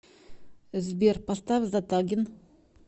сбер поставь затагин